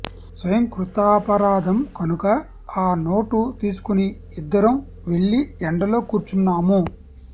స్వయంకృతాపరాధం కనుక ఆ నోటు తీసుకుని ఇద్దరం వెళ్లి ఎండలో కూర్చున్నాము